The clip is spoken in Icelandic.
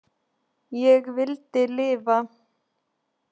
Ég vildi lifa.